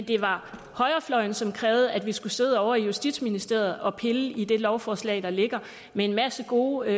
det var højrefløjen som krævede at vi skulle sidde ovre i justitsministeriet og pille i det lovforslag der ligger med en masse gode